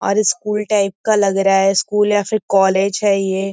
और school type का लग रहा है स्कूल या फिर कॉलेज है ये।